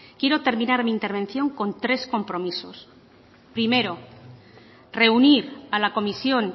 quiero terminar mi intervención con tres compromisos primero reunir a la comisión